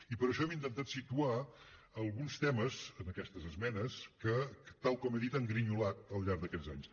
i per això hem intentat situar alguns temes en aquestes esmenes que tal com he dit han grinyolat al llarg d’aquests anys